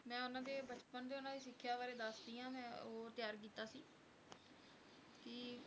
ਮੈਂ ਉਹਨਾਂ ਦੇ ਬਚਪਨ ਤੇ ਉਹਨਾਂ ਦੀ ਸਿੱਖਿਆ ਬਾਰੇ ਦੱਸਦੀ ਹਾਂ ਮੈਂ ਉਹ ਤਿਆਰ ਕੀਤਾ ਸੀ ਕਿ